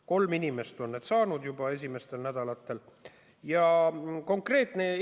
Kolm inimest on juba esimestel nädalatel saanud.